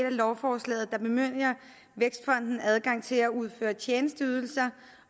af lovforslaget der bemyndiger vækstfonden adgang til at udføre tjenesteydelser